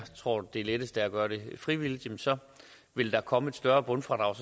tror det letteste er at gøre det frivilligt så vil der komme et større bundfradrag